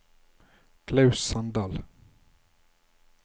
Klaus Sandal